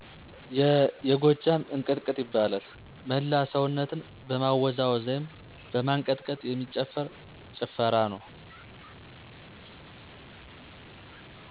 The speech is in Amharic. የጎጃም እንቅጥቅጥ ይባላል። መላ ሰውነትን በማወዛወዝ ወይም በማንቀጥቀጥ የሚጨፍር ጭፈራ ነው።